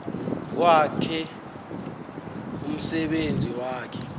kwakhe umsebenzi wakhe